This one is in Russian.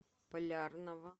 полярного